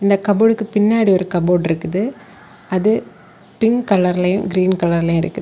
இந்த கப்போர்ட்க்கு பின்னால ஒரு கபோர்டு இருக்குது அது பிங்க் கலரில் கிரீன் கலர்லயு இருக்குது.